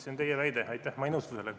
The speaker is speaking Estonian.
See on teie väide, ma ei nõustu sellega.